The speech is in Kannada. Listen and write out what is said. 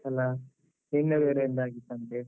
ಅಲಾ? ನಿನ್ನೆ ಬೇರೆ ಒಂದಾಗಿತ್ತಂತೆ.